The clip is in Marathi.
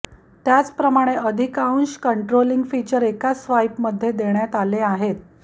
त्याचप्रमाणे अधिकांश कंट्रोलिंग फीचर एकाच स्वाइपमध्ये देण्यात आले आहेत